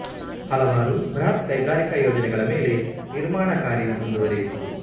ಹಲವಾರು ಬೃಹತ್ ಕೈಗಾರಿಕಾ ಯೋಜನೆಗಳ ಮೇಲೆ ನಿರ್ಮಾಣ ಕಾರ್ಯ ಮುಂದುವರೆಯಿತು